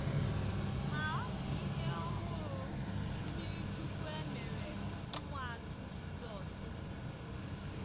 Ma ọ dị ihe ọhụrụ mmiri chukwu e mere ụmụazụ Jizọs gụnyere.